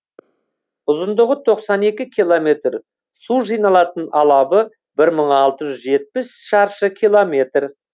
ұзындығы тоқсан екі километр су жиналатын алабы бір мың алты жүз жетпіс шаршы километр